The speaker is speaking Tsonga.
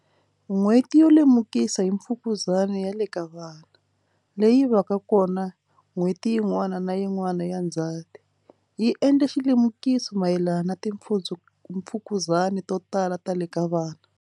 N'HWETI YO LEMUKISA hi Mfukuzani ya le ka Vana, leyi va ka kona n'hweti yin'wana na yin'wana ya Ndzati, yi endla xilemukiso mayelana na timfukuzani to tala ta le ka vana.